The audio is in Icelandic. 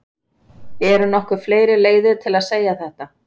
Eru nokkuð fleiri leiðir til að segja þetta?